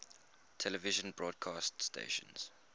television broadcast stations